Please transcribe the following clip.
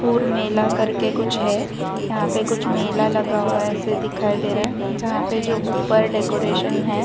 और मेला करके कुछ है यहां पे कुछ मेला लगा हुआ है ऐसे दिखाई दे रहा है जहां पे जो ऊपर डेकोरेशन है।